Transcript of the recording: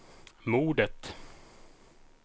mordet